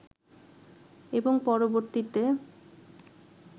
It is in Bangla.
এবং পরবর্তীতে